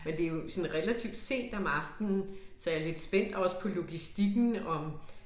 Men det jo sådan relativt sent om aftenen så jeg lidt spændt også på logistikken om